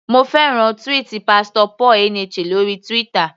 Mo fẹ́ràn tweet Pastor Paul Eneche lórí Twitter.